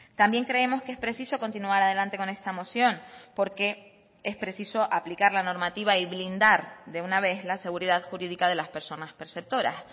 también creemos que es preciso continuar adelante con esta moción porque es preciso aplicar la normativa y blindar de una vez la seguridad jurídica de las personas perceptoras